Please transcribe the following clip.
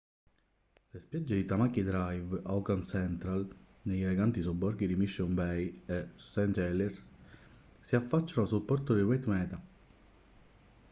le spiagge di tamaki drive a auckland central negli eleganti sobborghi di mission bay e st heliers si affacciano sul porto di waitemata